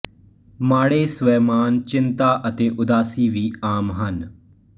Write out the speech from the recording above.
ਮਾੜੇ ਸ੍ਵੈਮਾਣ ਚਿੰਤਾ ਅਤੇ ਉਦਾਸੀ ਵੀ ਆਮ ਹਨ